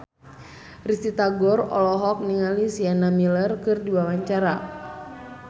Risty Tagor olohok ningali Sienna Miller keur diwawancara